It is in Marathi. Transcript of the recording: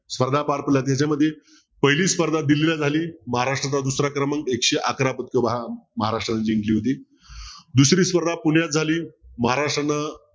स्पर्धा पार पडल्या त्याच्यामध्ये पहिली स्पर्धा दिल्लीला झाली महाराष्ट्राचा दुसरा क्रमांक एकशे अकरा महाराष्ट्राने जिंकली होती दुसरी स्पर्धा पुण्यात झाली महाराष्ट्रानं